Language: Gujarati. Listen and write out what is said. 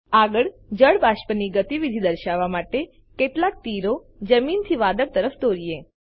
આગળ જળ બાષ્પની ગતીવિધિ દર્શાવવા માટે કેટલાક તીરો જમીનથી વાદળ તરફ દોરીએ